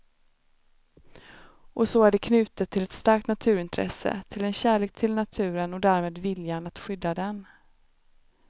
Och så är det knutet till ett starkt naturintresse, till en kärlek till naturen och därmed viljan att skydda den.